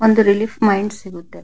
ಒಂದು relief mind ಸಿಗುತ್ತೆ.